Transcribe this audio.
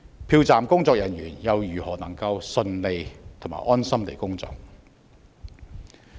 票站的工作人員又如何能夠順利和安心地工作？